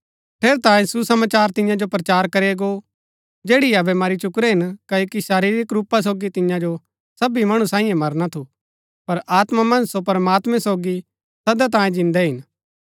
ठेरैतांये सुसमाचार तिन्या जो प्रचार करया गो जैड़ी अबै मरी चुकुरै हिन क्ओकि शरीरिक रूपा सोगी तिन्या जो सबी मणु सांईये मरना थू पर आत्मा मन्ज सो प्रमात्मैं सोगी सदा तांये जिन्दै हिन